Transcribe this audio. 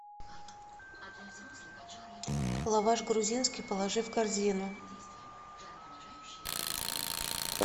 лаваш грузинский положи в корзину